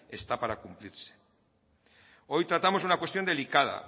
está para cumplirse hoy tratamos una cuestión delicada